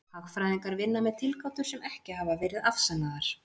hagfræðingar vinna með tilgátur sem ekki hafa verið afsannaðar